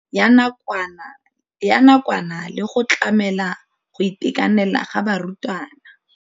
Ya nakwana le go tlamela go itekanela ga barutwana.